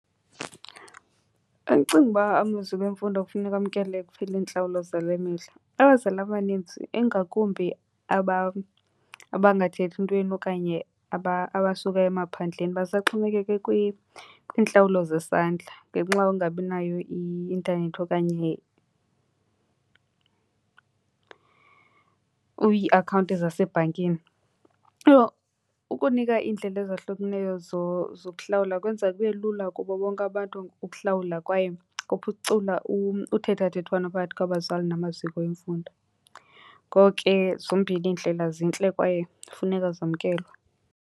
Andicingi uba amaziko emfundo kufuneka amkele kuphela iintlawulo zale mihla. Abazali abaninzi, ingakumbi abangathathi ntweni okanye abasuka emaphandleni basaxhomekeke kwiintlawulo zesandla ngenxa yokungabi nayo i-intanethi okanye iiakhawunti zasebhankini. Ukunika iindlela ezahlukeneyo zokuhlawula kwenza kube lula kubo bonke abantu ukuhlawula kwaye kuphucula uthethathethwano phakathi kwabazali namaziko emfundo. Ngoko ke zombini iindlela zintle kwaye funeka zamkelwe.